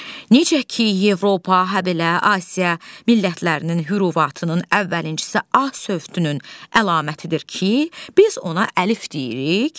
Necə ki, Avropa, habelə Asiya millətlərinin hürufatının əvvəlinçisi A sövdünün əlamətidir ki, biz ona əlif deyirik.